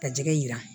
Ka jɛgɛ jira